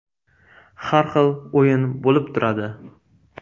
Har xil o‘yin bo‘lib turadi.